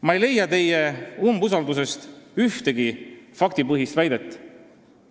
Ma ei leia teie umbusaldusavaldusest ühtegi faktipõhist väidet.